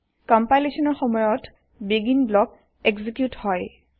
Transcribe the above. কম্পাইলেচনৰ সময়ত আৰম্ভণি ব্লক এক্সিকিউত হয়